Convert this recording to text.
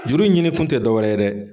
Juru ɲinikun tɛ dɔ wɛrɛ ye dɛ.